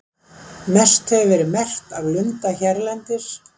Mest hefur verið merkt af lunda hérlendis.